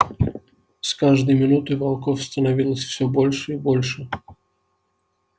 с каждой минутой волков становилось всё больше и больше